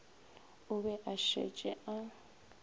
o be a šetše a